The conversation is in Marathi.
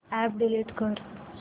अॅप डिलीट कर